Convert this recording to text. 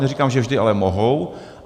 Neříkám, že vždy, ale mohou.